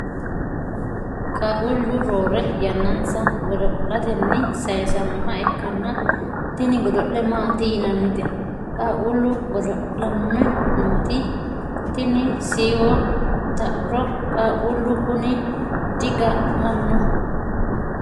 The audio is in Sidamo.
qaaqquullu roore yannansa godo'latenni sayiisannoha ikkanna, tini godo'le maati yinannite qaaqquullu godo'lanni nooti? tini siiwo xauro qaaqquullu kuni di ga'nanno?